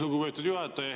Lugupeetud juhataja!